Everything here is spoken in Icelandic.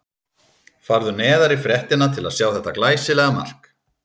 Farðu neðar í fréttina til að sjá þetta glæsilega mark.